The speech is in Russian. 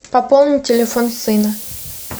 пополнить телефон сына